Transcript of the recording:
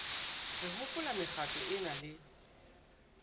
re hopola mekgatlo ena le